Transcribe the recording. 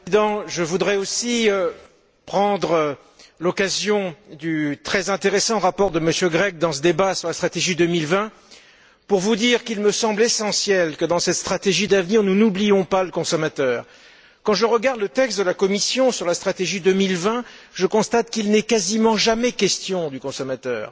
Monsieur le Président, je voudrais aussi saisir l'occasion du très intéressant rapport de M. Grech dans ce débat sur la stratégie 2020 pour vous dire qu'il me semble essentiel que, dans cette stratégie d'avenir, nous n'oubliions pas le consommateur. Quand je regarde le texte de la Commission sur la stratégie 2020, je constate qu'il n'y est quasiment jamais question du consommateur.